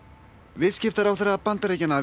viðskiptaráðherra Bandaríkjanna